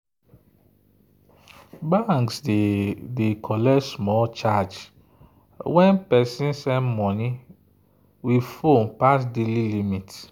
banks dey collect small charge when person send money with phone pass daily limit.